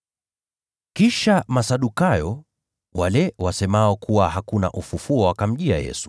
Kisha Masadukayo, wale wasemao kuwa hakuna ufufuo wa wafu, wakamjia Yesu,